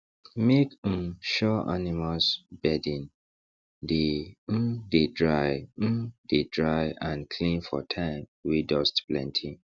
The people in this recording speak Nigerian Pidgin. make um sure animals bedding dey um dey dry um dey dry and clean for time wey dust plenty